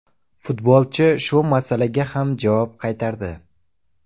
Futbolchi shu masalaga ham javob qaytardi.